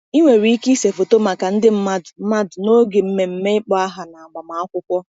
Ị nwere ike ịse foto maka ndị mmadụ mmadụ n’oge mmemme ịkpọ aha na agbamakwụkwọ.